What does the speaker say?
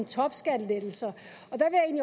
topskattelettelser